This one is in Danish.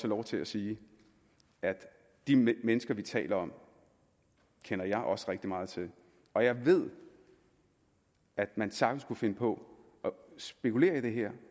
lov til at sige at de mennesker vi taler om kender jeg også rigtig meget til og jeg ved at man sagtens kunne finde på at spekulere i det her